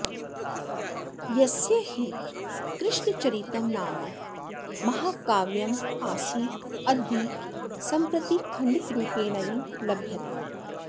यस्य हि कृष्णचरितं नाम महाकाव्यमासीद्यद्धि सम्प्रति खण्डितरूपेणैव लभ्यते